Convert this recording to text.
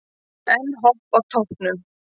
Enn Hopp á toppnum